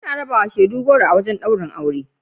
Ana rabawa shaidu goro a wajen ɗaurin aure.